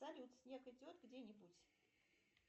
салют снег идет где нибудь